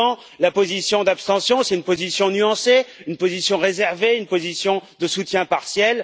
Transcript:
Souvent, la position d'abstention, c'est une position nuancée, une position réservée, une position de soutien partiel.